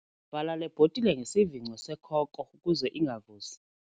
Vala le bhotile ngesivingco sekhoko ukuze ingavuzi.